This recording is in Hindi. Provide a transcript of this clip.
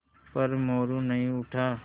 पर मोरू नहीं उठा